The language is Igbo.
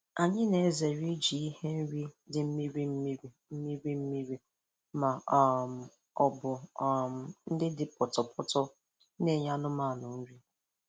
Anyị na-ezere iji ihe nri dị mmiri mmiri mmiri mmiri ma um ọ bụ um nke dị pọtọpọtọ na-enye anụmanụ nri.